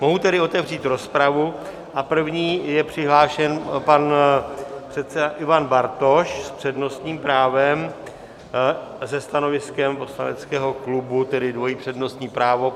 Mohu tedy otevřít rozpravu a první je přihlášen pan předseda Ivan Bartoš s přednostním právem se stanoviskem poslaneckého klubu, tedy dvojí přednostní právo.